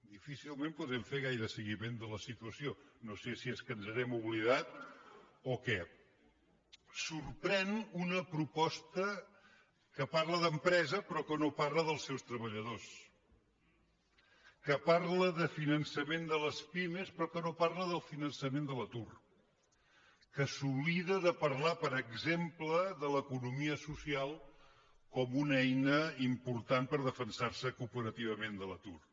difícilment podem fer gaire seguiment de la situació no sé si és que ens n’hem oblidat o què sorprèn una proposta que parla d’empresa però que no parla dels seus treballadors que parla de finançament de les pimes però que no parla del finançament de l’atur que s’oblida de parlar per exemple de l’economia social com una eina important per defensar se cooperativament de l’atur